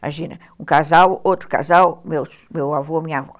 Imagina, um casal, outro casal, meu meu avô, minha avó.